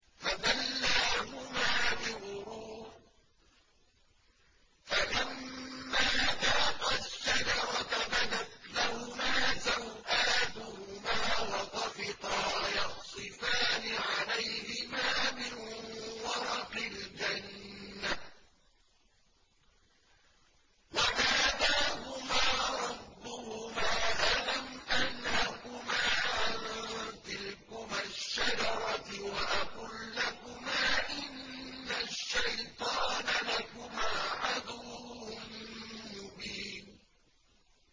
فَدَلَّاهُمَا بِغُرُورٍ ۚ فَلَمَّا ذَاقَا الشَّجَرَةَ بَدَتْ لَهُمَا سَوْآتُهُمَا وَطَفِقَا يَخْصِفَانِ عَلَيْهِمَا مِن وَرَقِ الْجَنَّةِ ۖ وَنَادَاهُمَا رَبُّهُمَا أَلَمْ أَنْهَكُمَا عَن تِلْكُمَا الشَّجَرَةِ وَأَقُل لَّكُمَا إِنَّ الشَّيْطَانَ لَكُمَا عَدُوٌّ مُّبِينٌ